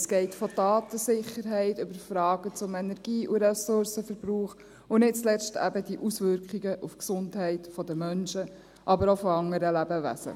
Es geht von der Datensicherheit über Fragen zum Energie- und Ressourcenverbrauch und nicht zuletzt eben bis hin zu den Auswirkungen auf die Gesundheit der Menschen, aber auch anderer Lebewesen.